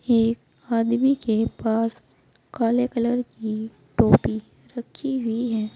एक आदमी के पास काले कलर की टोपी रखी हुई है।